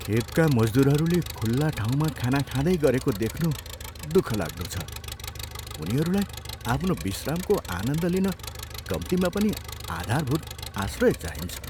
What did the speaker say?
खेतका मजदुरहरूले खुल्ला ठाउँमा खाना खाँदै गरेको देख्नु दुःखलाग्दो छ। उनीहरूलाई आफ्नो विश्रामको आनन्द लिन कम्तीमा पनि आधारभूत आश्रय चाहिन्छ।